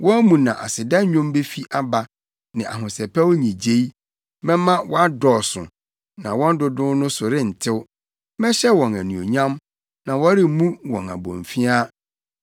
Wɔn mu na aseda nnwom befi aba ne ahosɛpɛw nnyigyei. Mɛma wɔadɔɔso, na wɔn dodow no so rentew; mɛhyɛ wɔn anuonyam, na wɔremmu wɔn abomfiaa.